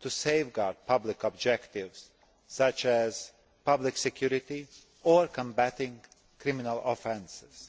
to safeguard public objectives, such as public security or combating criminal offences.